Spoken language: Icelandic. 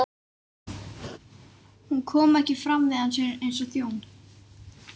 Hún kom ekki fram við hann eins og þjón.